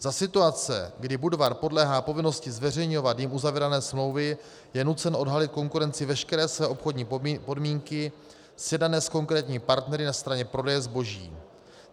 Za situace, kdy Budvar podléhá povinnosti zveřejňovat jím uzavírané smlouvy, je nucen odhalit konkurenci veškeré své obchodní podmínky sjednané s konkrétními partnery na straně prodeje zboží.